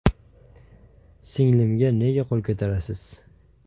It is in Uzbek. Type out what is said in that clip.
– Singlimga nega qo‘l ko‘tarasiz?